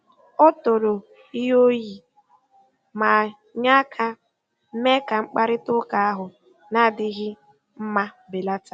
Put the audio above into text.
O toro ihe o yi, ma nye aka mee ka mkparịta ụka ahụ na-adịghị mma belata.